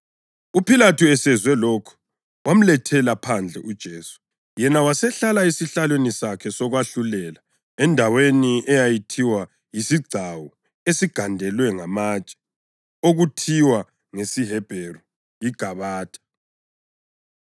UPhilathu esezwe lokhu, wamletha phandle uJesu, yena wasehlala esihlalweni sakhe sokwahlulela endaweni eyayithiwa yisiGcawu Esigandelwe Ngamatshe (okuthiwa ngesiHebheru yiGabatha).